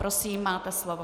Prosím, máte slovo.